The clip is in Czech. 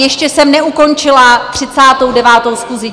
Ještě jsem neukončila 39. schůzi.